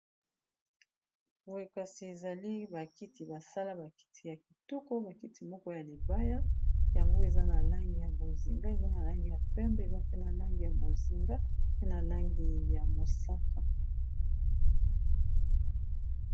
Boye kasi ezali ba kiti basala ba kiti ya kitoko ba kiti moko ya libaya yango eza na langi ya bozinga eza na langi ya pembe eza pe na langi ya bozinga pe na langi ya mosaka.